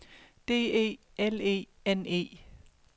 D E L E N E